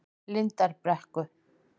Lindarbrekku